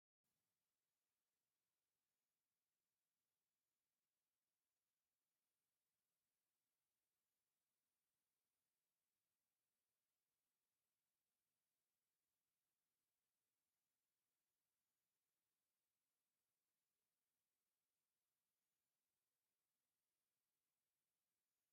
ኣብዚ ንጽባቐ ደቂ ኣንስትዮ ዝድግፉ ኣካላውን መንፈሳውን መሳርሒታት ብዝተወደበ ኣገባብ ተዘርጊሖም ኣለዉ። እዚ ስእሊ ንስነ-ጥበብ ጽባቐ፡ መንፈሳዊ ሓጎስን ርእሰ-ምትእምማንን ዝውክል እዩ።